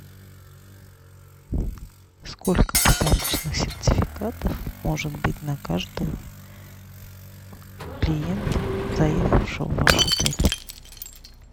сколько подарочных сертификатов может быть на каждого клиента заехавшего в ваш отель